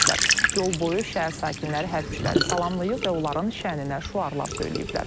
Yol boyu şəhər sakinləri hərbçiləri salamlayıb və onların şanına şüarlar söyləyiblər.